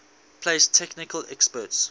place technical experts